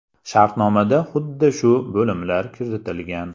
Shartnomada xuddi shu bo‘limlar kiritilgan.